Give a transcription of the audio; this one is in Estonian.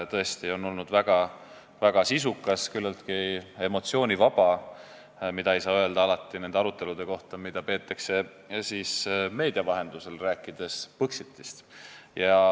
Tõesti on olnud väga sisukas ja küllaltki emotsioonivaba arutelu, mida ei saa alati öelda nende arutelude kohta, mida peetakse meedia vahendusel, rääkides Põxitist.